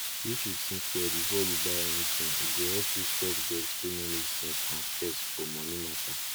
if you think well before you buy anything e go help you stop debt wey no make sense and stress for moni mata